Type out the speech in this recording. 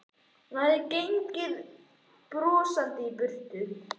Hún hafði gengið brosandi í burt.